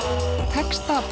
texta